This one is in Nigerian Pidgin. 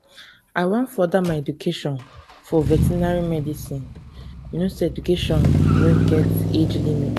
i wan further my education in vertinary medicine you no say education no get age limit